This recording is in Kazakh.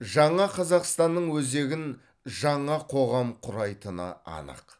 жаңа қазақстанның өзегін жаңа қоғам құрайтыны анық